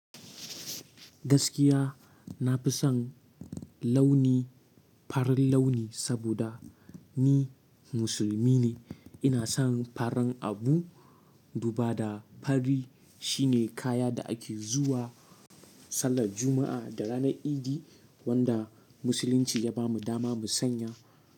Gaskiya nafi son launi, farin launi saboda ni musulmi ne. Ina son farin abu duba da fari shine kaya da ake zuwa sallar Juma'a da ranar Idi wanda Musulunci ya bamu dama mu sanya.